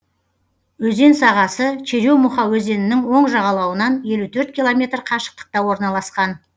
өзен сағасы черемуха өзенінің оң жағалауынан елу төрт километр қашықтықта орналасқан